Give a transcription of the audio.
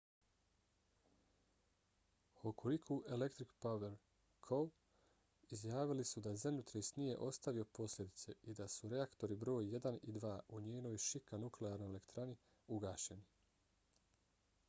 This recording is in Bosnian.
hokuriku electric power co. izjavili su da zemljotres nije ostavio posljedice i da su reaktori broj 1 i 2 u njenoj shika nuklearnoj elektrani ugašeni